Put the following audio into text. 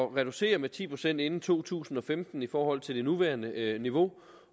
reducere med ti procent inden to tusind og femten i forhold til det nuværende niveau